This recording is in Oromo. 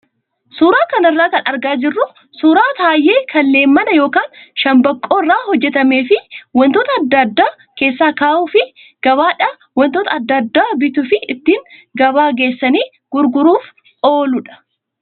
Suuraa kanarraa kan argaa jirru suuraa tayee kan leemmana yookaan shambaqqoo irraa hojjatamee fi wantoota adda addaa keessa kaa'uu fi gabaadhaa wantoota adda addaa bituu fi ittiin gabaa geessanii gurguruuf ooludha.